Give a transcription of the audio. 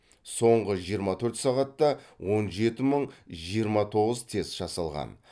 соңғы жиырма төрт сағатта он жеті мың жиырма тоғыз тест жасалған